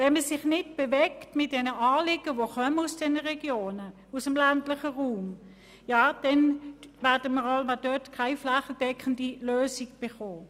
Wenn man sich nicht bewegt und die Anliegen aufnimmt, die aus den Regionen kommen, aus dem ländlichen Raum, dann wird man keine flächendeckende Lösung erreichen.